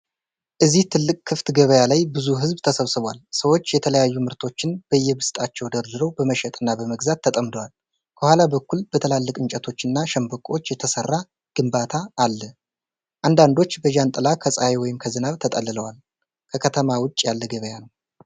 እዚህ ትልቅ ክፍት ገበያ ላይ ብዙ ሕዝብ ተሰብስቧል። ሰዎች የተለያዩ ምርቶችን በየብስጣቸው ደርድረው በመሸጥና በመግዛት ተጠምደዋል። ከኋላ በኩል በትላልቅ እንጨቶችና ሸንበቆዎች የተሰራ ግንባታ አለ። አንዳንዶች በጃንጥላ ከፀሐይ ወይም ከዝናብ ተጠልለዋል። ከከተማ ውጪ ያለ ገበያ ነው።